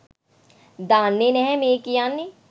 දන්නේ නැහැ මේ කියන්නේ.